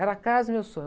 Era a casa do meu sonho.